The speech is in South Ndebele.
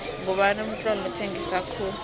ngubani umtloli othengisa khulu